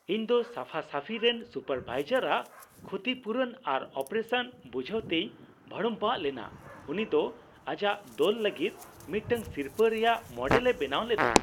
ᱤᱧ ᱫᱚ ᱥᱟᱯᱷᱟᱼᱥᱟᱷᱤ ᱨᱮᱱ ᱥᱩᱯᱟᱨᱼᱵᱷᱟᱭᱡᱟᱨ ᱟᱜ ᱠᱷᱩᱛᱤᱯᱩᱨᱩᱱ ᱟᱨ ᱚᱯᱟᱨᱮᱥᱚᱱ ᱵᱩᱡᱷᱟᱹᱣᱛᱮᱧ ᱵᱷᱟᱲᱩᱢᱵᱷᱟᱜ ᱞᱮᱱᱟ ᱾ ᱩᱱᱤ ᱫᱚ ᱟᱡᱟᱜ ᱫᱚᱞ ᱞᱟᱹᱜᱤᱫ ᱢᱤᱫᱴᱟᱝ ᱥᱤᱨᱯᱟᱹ ᱨᱮᱭᱟᱜ ᱢᱚᱰᱮᱞ ᱮ ᱵᱮᱱᱟᱣ ᱞᱮᱫᱟ ᱾